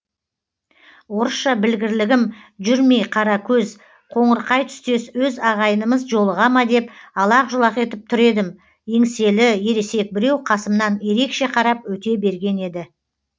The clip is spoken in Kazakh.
орысша білгірлігім жүрмей қара көз қоңырқай түстес өз ағайынымыз жолыға ма деп алақ жұлақ етіп тұр едім еңселі ересек біреу қасымнан ерекше қарап өте берген еді